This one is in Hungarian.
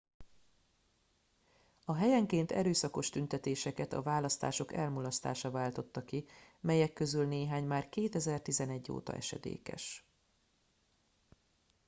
a helyenként erőszakos tüntetéseket a választások elmulasztása váltotta ki melyek közül néhány már 2011 óta esedékes